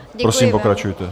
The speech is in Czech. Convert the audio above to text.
Prosím, pokračujte.